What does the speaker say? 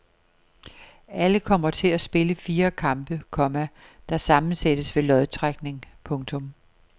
Alle kommer til at spille fire kampe, komma der sammensættes ved lodtrækning. punktum